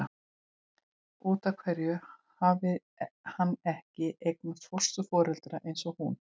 Út af hverju hafði hann ekki eignast fósturforeldra eins og hún?